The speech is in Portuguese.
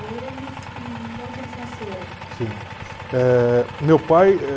Eh, meu pai